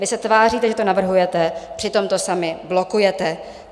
Vy se tváříte, že to navrhujete, přitom to sami blokujete.